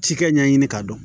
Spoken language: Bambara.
Cikɛ ɲɛɲini k'a dɔn